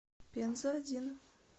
пенза один